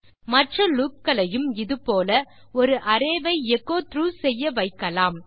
மற்ற லூப் களையும் இது போல ஒரு arrayவை எச்சோ த்ராக் செய்யவைக்கலாம்